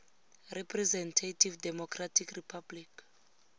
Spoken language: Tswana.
representative democratic republic